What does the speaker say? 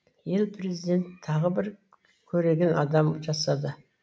ел президент тағы бір көреген адам жасады